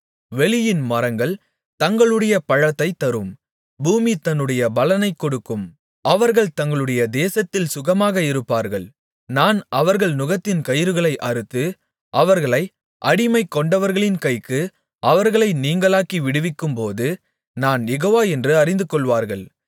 வெளியின் மரங்கள் தங்களுடைய பழத்தைத் தரும் பூமி தன்னுடைய பலனைக் கொடுக்கும் அவர்கள் தங்களுடைய தேசத்தில் சுகமாக இருப்பார்கள் நான் அவர்கள் நுகத்தின் கயிறுகளை அறுத்து அவர்களை அடிமைகொண்டவர்களின் கைக்கு அவர்களை நீங்கலாக்கி விடுவிக்கும்போது நான் யெகோவா என்று அறிந்துகொள்வார்கள்